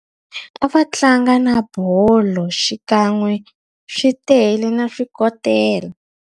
A va tlanga na bolo xikan'we swi tele, na swikotela.